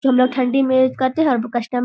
ठंडी मे करते हैं और कस्टम --